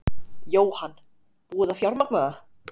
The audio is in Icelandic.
Jóhann: Búið að fjármagna það?